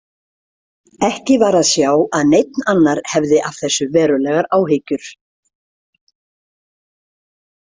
Ekki var að sjá að neinn annar hefði af þessu verulegar áhyggjur.